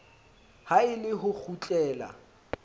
ha e le ho kgutlela